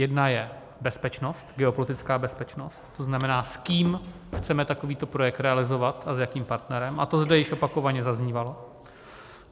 Jedna je bezpečnost, geopolitická bezpečnost, to znamená s kým chceme takovýto projekt realizovat a s jakým partnerem, a to zde již opakovaně zaznívalo.